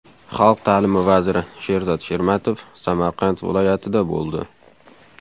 Xalq ta’limi vaziri Sherzod Shermatov Samarqand viloyatida bo‘ldi.